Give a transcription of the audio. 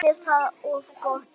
Var henni það of gott?